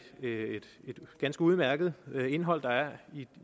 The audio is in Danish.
ganske udmærket indhold der er